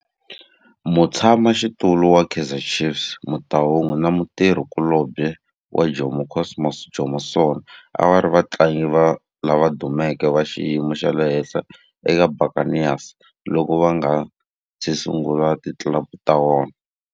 Mutshama xitulu wa Kaizer Chiefs Motaung na mutirhi kulobye wa Jomo Cosmos Jomo Sono a va ri vatlangi lava dumeke va xiyimo xa le henhla eka Buccaneers loko va nga si sungula ti club ta vona.